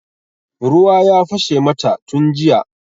Ruwa ya fashe mata tun jiya.